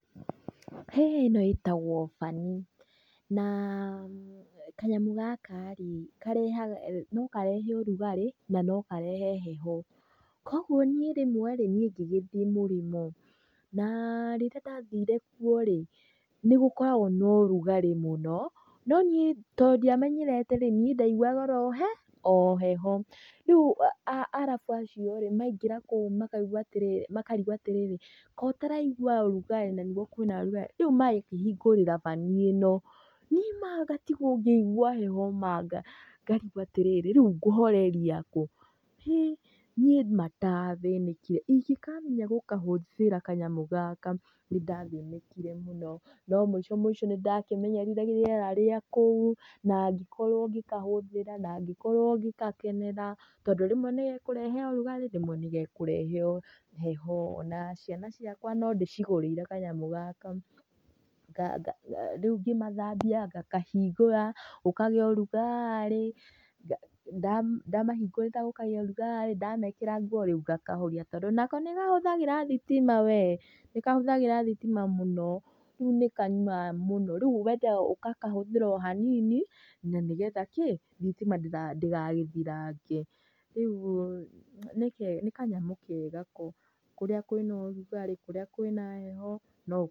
Ĩno ĩtagwo banĩ na kanyamũ gaka rĩ no karehe ũrugarĩ na no karehe heho. Koguo niĩ rĩmwe rĩ nĩi ngĩgĩthĩ mũrĩmo na rĩrĩa ndathire kuo rĩ nĩ gũkoragwo na ũrugarĩ mũno no nĩi to ndimenyerete nĩi ndaiguaga oroheho, rĩu arabu acio rĩ maingĩra kũu makarĩgwo atĩrĩrĩ kotaraigua ũrugarĩ na nĩguo kwĩna ũrugarĩ? Rĩu magakĩhingũrĩra banĩ ĩno nĩ ma ngatigwo ngĩigua heho ngarigwo atĩrĩrĩ rĩu ngũhoreria kũ? Niĩ ma ndathĩnĩkire ĩngĩkamenya gũkahũthĩra kanyamũ gaka nĩ ndathĩnĩkire mũno na mũico mũico nĩ ndakĩmenyerire rĩera rĩa kũu na ngĩkorwo ngĩkahũthĩra na ngĩkorwo ngĩgakenerera tondũ rĩmwe nĩ gekũrehe ũrugarĩ rĩmwe nĩ gekũrehe heho. Na ciana ciakwa no ndĩcigũrĩire kanyamũ gaka, rĩu ngĩmathambia ngakahingũra gũkagĩa ũrugarĩ, ndamahingũrĩra gũkagĩa ũrugarĩ ndamekĩra nguo rĩu ngakahoria, tondũ nako nĩkahũthagĩra thitima we, nĩkahũthagĩra thitima mũno, rĩu nĩkanyuaga mũno, rĩu wendaga ũgakahũthĩra o hanini na nĩgetha kĩ thitima ndĩgagĩthirange. Ũguo nĩ kanyamũ kega ko, rĩrĩa kwĩna ũrugarĩ, rĩrĩa kwĩna heho no ũkahũthĩre.